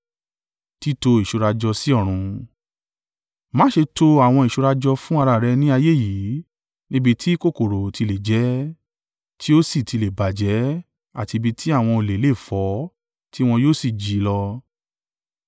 “Má ṣe to àwọn ìṣúra jọ fún ara rẹ ní ayé yìí, níbi tí kòkòrò ti le jẹ ẹ́, tí ó sì ti le bàjẹ́ àti ibi tí àwọn olè lè fọ́ tí wọ́n yóò sì jí i lọ.